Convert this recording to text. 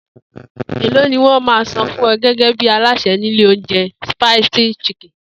Èló ni wó̩n á máa san fún o̩ gé̩gé̩ bí alásè̩ ní ilé oúnje̩ Spicy Chicken?